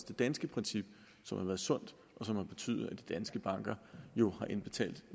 det danske princip som har været sundt og som har betydet at de danske banker jo har indbetalt